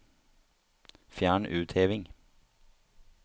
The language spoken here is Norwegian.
Fjern utheving